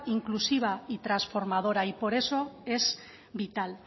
inclusiva y transformadora y por eso es vital